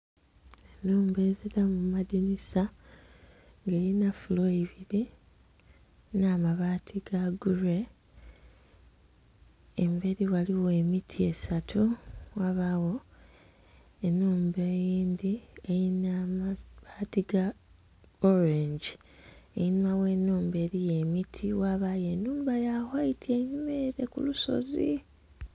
Enhumba ezilamu madinisa nga elina floor ibili nh'amabaati ga grey. Embeli ghaligho emiti esatu, ghabagho enhumba eyindhi elina amabaati ga orange. Enhuma gh'enhumba eliyo emiti ghabayo enhumba ya white enhuma ele ku lusozi.